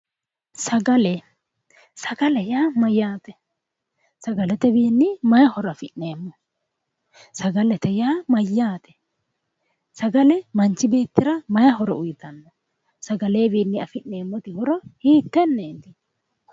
sagale sagale yaa mayyaate sagaletewiinni mayi horo afi'neemmo sagalete yaa mayyaate sagale manchi beettira mayi horo uyitanno? sagalewiinni afi'neemmoti horo hiittenneeti